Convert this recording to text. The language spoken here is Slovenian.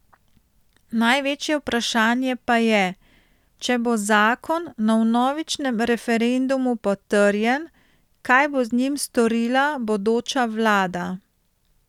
Največje vprašanje pa je, če bo zakon na vnovičnem referendumu potrjen, kaj bo z njim storila bodoča vlada.